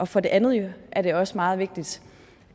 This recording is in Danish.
for det andet er det også meget vigtigt